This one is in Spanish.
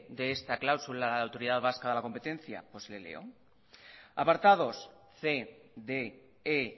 de esta cláusula la autoridad vasca de la competencia pues le leo apartados c d